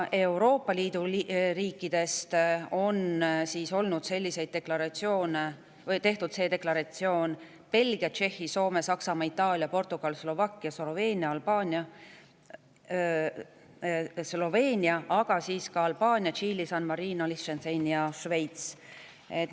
Euroopa Liidu riikidest on tehtud see deklaratsioon Belgial, Tšehhil, Soomel, Saksamaal, Itaalial, Portugalil, Slovakkial ja Sloveenial Albaanial, Tšiilil, San Marinol, Liechtensteinil ja Šveitsil.